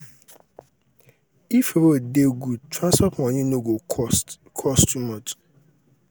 if road dey good transport money no go cost cost too much.